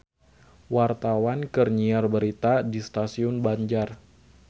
Wartawan keur nyiar berita di Stasiun Banjar